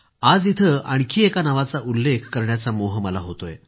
आज इथं आणखी एका नावाचा उल्लेख करण्याचा मोह मला होतोय